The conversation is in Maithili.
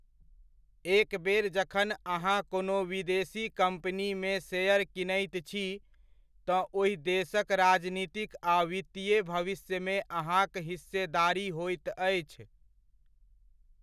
एक बेर जखन अहाँ कोनो विदेशी कम्पनीमे शेयर कीनैत छी तँ ओहि देशक राजनीतिक आ वित्तीय भविष्यमे अहाँक हिस्सेदारी होइत अछि।